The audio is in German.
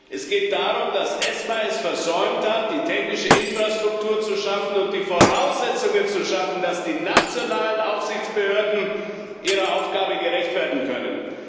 Es geht darum, dass ESMA es versäumt hat, die technische Infrastruktur zu schaffen und die Voraussetzungen dafür zu schaffen, dass die nationalen Aufsichtsbehörden ihrer Aufgabe gerecht werden können.